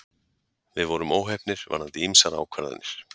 Við vorum óheppnir varðandi ýmsar ákvarðanir